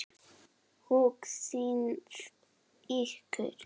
Hugsið ykkur!